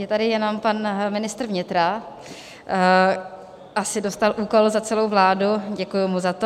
Je tady jenom pan ministr vnitra, asi dostal úkol za celou vládu, děkuji mu za to.